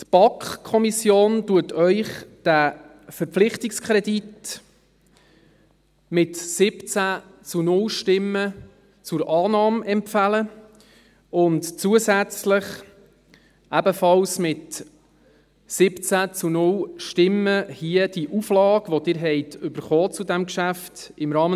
Die BaK empfiehlt Ihnen diesen Verpflichtungskredit mit 17 zu 0 Stimmen zur Annahme und zusätzlich ebenfalls mit 17 zu 0 Stimmen hier diese Auflage, die Sie zu diesem Geschäft bekommen haben: